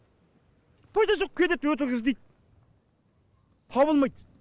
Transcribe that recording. пайда жоқ кетеді өтірік іздейт табылмайт